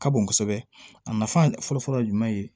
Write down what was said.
Ka bon kosɛbɛ a nafa fɔlɔ-fɔlɔ ye jumɛn ye